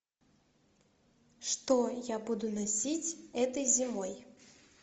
что я буду носить этой зимой